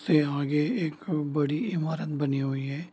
से आगे एक बड़ी ईमारत बनी हुई है।